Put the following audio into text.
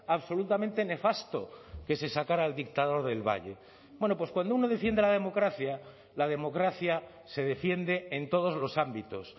absolutamente nefasto que se sacará al dictador del valle bueno pues cuando uno defiende la democracia la democracia se defiende en todos los ámbitos